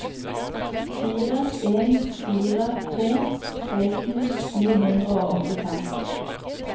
fire en fire to seksten ni hundre og åttifem